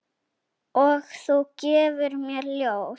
Og þú gefur mér ljóð.